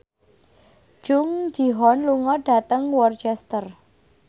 Jung Ji Hoon lunga dhateng Worcester